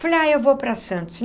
Falei, ah, eu vou para Santos.